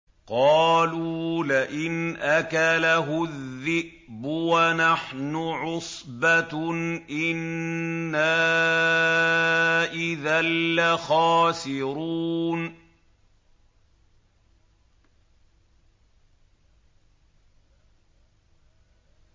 قَالُوا لَئِنْ أَكَلَهُ الذِّئْبُ وَنَحْنُ عُصْبَةٌ إِنَّا إِذًا لَّخَاسِرُونَ